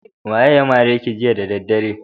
Waye ya mare ki jiya da daddare?